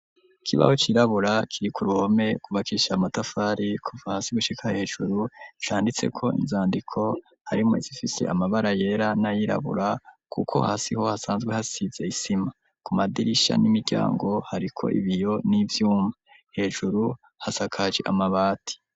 Ikibaho cirabura kiri ku ruhome cubakisha amatafari kuva hasi gushika hejuru canditse ko inzandiko harimwo zifise amabara yera nayirabura kuko hasiho hasanzwe hasize isima ku madirisha n'imiryango hariko ibiyo n'ivyuma hejuru hasakaji amabati.